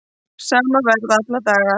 Sama verð alla daga